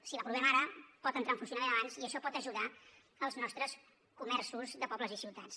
si l’aprovem ara pot entrar en funcionament abans i això pot ajudar els nostres comerços de pobles i ciutats